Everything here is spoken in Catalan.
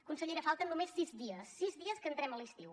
consellera falten només sis dies sis dies perquè entrem a l’estiu